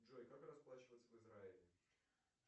джой как расплачиваться в израиле